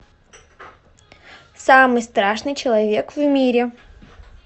самый страшный человек в мире